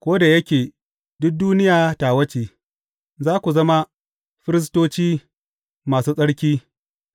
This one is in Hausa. Ko da yake duk duniya tawa ce, za ku zama firistoci masu tsarki